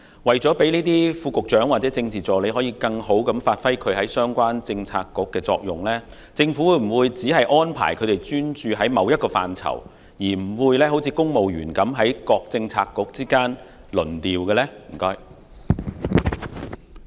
為了讓副局長或政治助理在相關政策局更有效地發揮作用，政府會否只安排他們專注某個範疇，不會像公務員般在各政策局之間輪調？